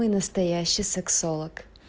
самый настоящий сексолог